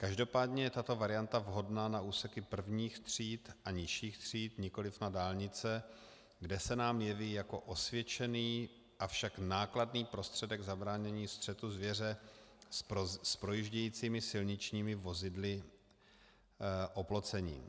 Každopádně je tato varianta vhodná na úseky prvních tříd a nižších tříd, nikoliv na dálnice, kde se nám jeví jako osvědčený, avšak nákladný prostředek zabránění střetu zvěře s projíždějícími silničními vozidly oplocení.